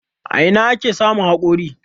A ina ake samun hakori.?